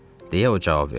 – deyə o cavab verdi.